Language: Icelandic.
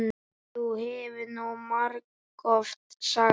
Það hefur þú margoft sagt.